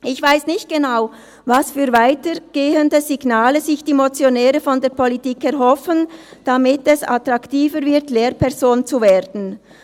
Ich weiss nicht genau, welche weitergehenden Signale sich die Motionäre von der Politik erhoffen, damit es attraktiver wird, Lehrperson zu werden.